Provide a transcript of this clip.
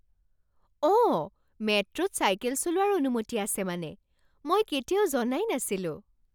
অঁ! মেট্ৰ'ত চাইকেল চলোৱাৰ অনুমতি আছে মানে। মই কেতিয়াও জনাই নাছিলোঁ।